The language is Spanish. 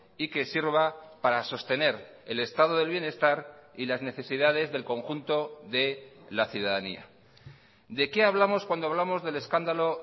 y que sirva para sostener el estado del bienestar y las necesidades del conjunto de la ciudadanía de qué hablamos cuando hablamos del escándalo